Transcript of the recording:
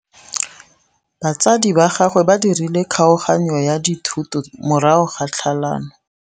Batsadi ba gagwe ba dirile kgaoganyô ya dithoto morago ga tlhalanô.